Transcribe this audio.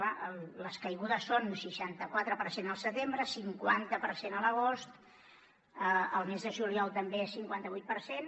clar les caigudes són seixanta quatre per cent al setembre cinquanta per cent a l’agost el mes de juliol també cinquanta vuit per cent